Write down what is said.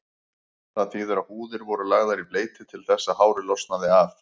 Það þýðir að húðir voru lagðar í bleyti til þess að hárið losnaði af.